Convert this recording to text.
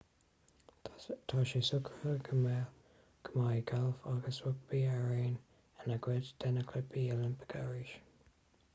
tá sé socraithe go mbeidh gailf agus rugbaí araon ina gcuid de na cluichí oilimpeacha arís